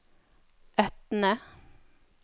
Etne